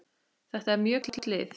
Þetta er mjög gott lið.